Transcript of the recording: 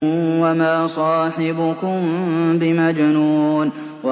وَمَا صَاحِبُكُم بِمَجْنُونٍ